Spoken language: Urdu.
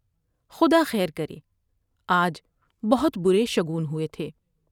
خدا خیر کرے ۔آج بہت برے شگون ہوۓ تھے ۔